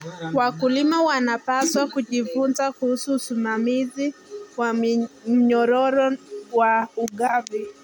Wakulima wanapaswa kujifunza kuhusu usimamizi wa mnyororo wa ugavi.